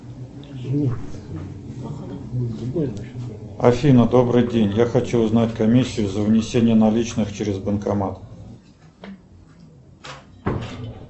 афина добрый день я хочу узнать комиссию за внесение наличных через банкомат